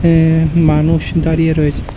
এ মানুষ দাঁড়িয়ে রয়েছে।